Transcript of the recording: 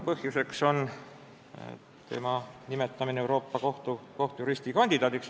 Põhjus on tema nimetamine Euroopa Kohtu kohtujuristi kandidaadiks.